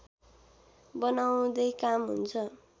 बनाउँदै काम हुन्छ